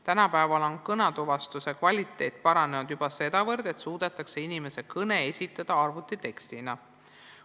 Tänapäeval on kõnetuvastuse kvaliteet juba nii palju paranenud, et suudetakse inimese kõne esitada arvutitekstina.